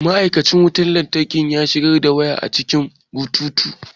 Ma'aikacin wutar lantarki ya shigar da waya a cikin bututu.